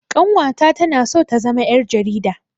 Ƙanwata tana so ta zama ƴar jarida